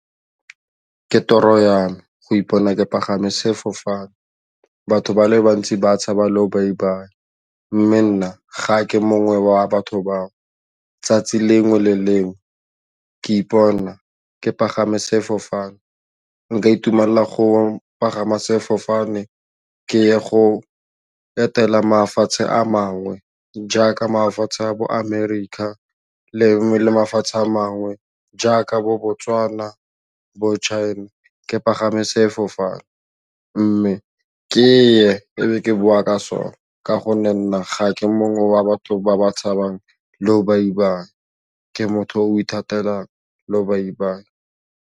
Ke toro ya me go ipona ke pagame sefofane batho ba le bantsi ba tshaba lobaibai mme nna ga ke mongwe wa batho bao, 'tsatsi lengwe le lengwe ke ipona ke pagama sefofane nka itumelela go pagama sefofane ke ye go etela mafatshe a mangwe jaaka mafatshe a bo America lengwe le mafatshe a mangwe jaaka bo Botswana bo China ke pagame sefofane mme ke ye e be ke boa ka sone ka gonne nna ga ke mongwe wa batho ba ba tshabang lobaibai ke motho o ithatela lobaibai.